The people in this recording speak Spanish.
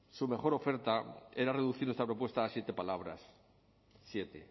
su mejor oferta era reducir esta propuesta a siete palabras siete